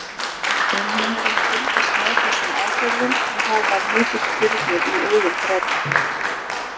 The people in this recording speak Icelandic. Umheimurinn fylgist með þessum aðgerðum og það var mikill þyrnir í augum Breta.